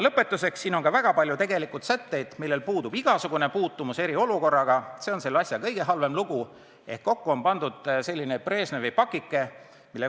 Lõpetuseks, selles eelnõus on väga palju selliseid sätteid, millel puudub igasugune puutumus eriolukorraga – see on selle asja juures kõige halvem –, ehk kokku on pandud Brežnevi pakike.